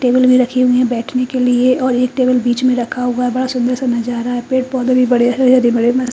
table भी रखी हुई है बैठने के लिए और एक टेबल बीच में रखा हुआ है बड़ा सुंदर जा रहा है पेड़ पौधे भी बढ़िया बड़े मस--